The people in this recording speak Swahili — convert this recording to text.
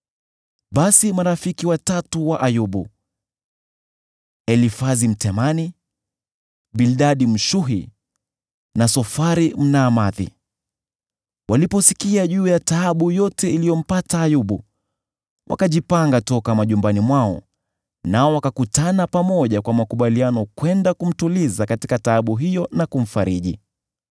Basi marafiki watatu wa Ayubu, ndio Elifazi Mtemani, na Bildadi Mshuhi na Sofari Mnaamathi, waliposikia juu ya taabu yote iliyompata Ayubu, wakajipanga toka manyumbani mwao, nao wakakutana pamoja kwa makubaliano kwenda kumtuliza katika taabu hiyo na kumfariji.